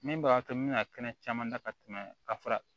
Min b'a to n bɛna kɛnɛ caman da ka tɛmɛ ka fara